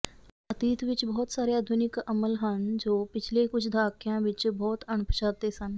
ਅਤੀਤ ਵਿੱਚ ਬਹੁਤ ਸਾਰੇ ਆਧੁਨਿਕ ਅਮਲ ਹਨ ਜੋ ਪਿਛਲੇ ਕੁਝ ਦਹਾਕਿਆਂ ਵਿੱਚ ਬਹੁਤ ਅਣਪਛਾਤੇ ਸਨ